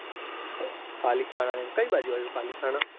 પાલિથાના કઈ બાજુ આવ્યું પાલિથાના.